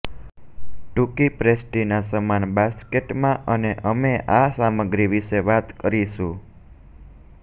ટૂંકી પેસ્ટ્રીના સમાન બાસ્કેટમાં અને અમે આ સામગ્રી વિશે વાત કરીશું